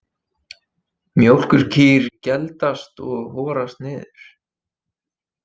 Mjólkurkýr geldast og horast niður.